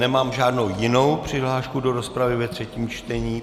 Nemám žádnou jinou přihlášku do rozpravy ve třetím čtení.